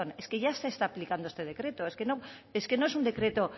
es que ya se está aplicando este decreto es que no es un decreto